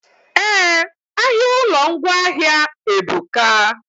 Eh, ahịa ụlọ ngwaahịa ebuka